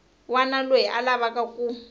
wana loyi a lavaku ku